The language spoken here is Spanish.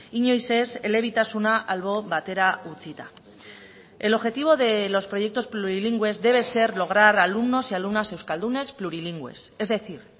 inoiz ez elebitasuna albo batera utzita el objetivo de los proyectos plurilingües debe ser lograr alumnos y alumnas euskaldunes plurilingües es decir